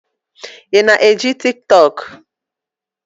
Ị na eji Tiktọk?